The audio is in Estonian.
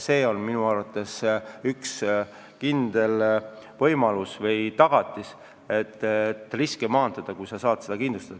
See on minu arvates üks kindel võimalus riske maandada.